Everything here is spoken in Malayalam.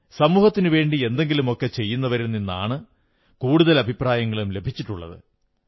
സമൂഹത്തിനുവേണ്ടി എന്തെങ്കിലുമൊക്കെ ചെയ്യുന്നവരിൽ നിന്നാണ് കൂടുതൽ അഭിപ്രായങ്ങളും ലഭിച്ചിട്ടുള്ളത്